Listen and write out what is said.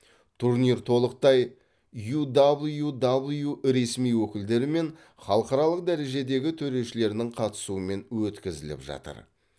турнир толықтай юдаблюдаблю ресми өкілдері мен халықаралық дәрежедегі төрешілерінің қатысуымен өткізіліп жатыр